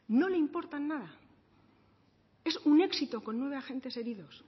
no le importan nada es un éxito con nueve agentes heridos